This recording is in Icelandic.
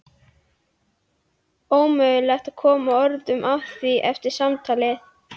Ómögulegt að koma orðum að því eftir samtalið.